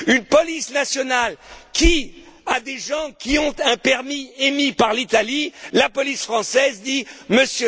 Une police nationale qui, à des gens qui ont un permis émis par l'Italie,